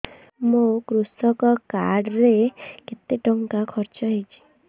ମୋ କୃଷକ କାର୍ଡ ରେ କେତେ ଟଙ୍କା ଖର୍ଚ୍ଚ ହେଇଚି